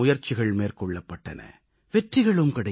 தத்தமது வழிகளில் முயற்சிகள் மேற்கொள்ளப்பட்டன